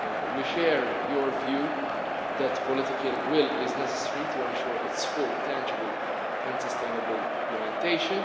We share your view that political will is necessary to ensure its full, tangible and sustainable implementation.